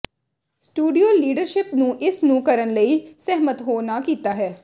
studio leadership ਨੂੰ ਇਸ ਨੂੰ ਕਰਨ ਲਈ ਸਹਿਮਤ ਹੋ ਨਾ ਕੀਤਾ ਹੈ